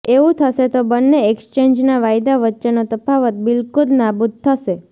એવું થશે તો બંને એક્સ્ચેન્જના વાયદા વચ્ચેનો તફાવત બિલકુલ નાબૂદ થશે